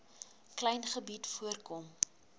klein gebied voorkom